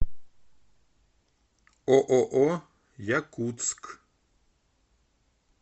ооо якутск